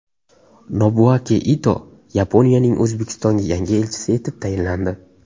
Nobuaki Ito Yaponiyaning O‘zbekistondagi yangi elchisi etib tayinlandi.